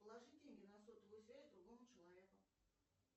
положи деньги на сотовую связь другому человеку